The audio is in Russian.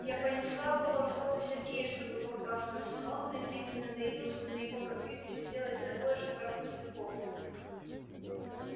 я понесла было фото сергею чтобы похвастаться но он презрительно заявил что на его компьютере сделать такое же пара пустяков